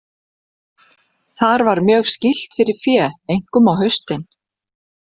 Þar var mjög skýlt fyrir fé, einkum á haustin.